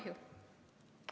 Vaat kui kahju!